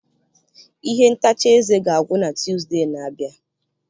Ihe ntacha eze ga-agwụ na Tuzdee na-abịa.